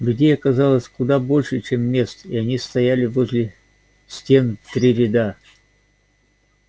людей оказалось куда больше чем мест и они стояли возле стен в три ряда